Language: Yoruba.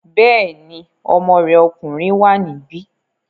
Bẹ́ẹ̀ni, ọmọ rẹ̀ ọkùnrin wà níbí